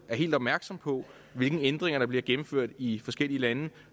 helt opmærksomme på hvilke ændringer der bliver gennemført i forskellige lande